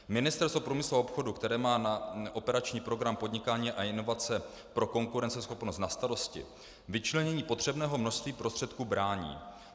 Ministerstvo průmyslu a obchodu, které má na operační program Podnikání a inovace pro konkurenceschopnost na starosti, vyčlenění potřebného množství prostředků brání.